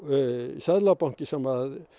Seðlabankinn sem